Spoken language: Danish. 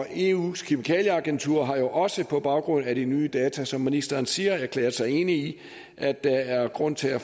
eus kemikalieagentur har jo også på baggrund af de nye data som ministeren siger erklæret sig enig i at der er grund til at